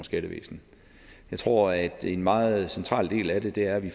skattevæsen jeg tror at en meget central del af det er at vi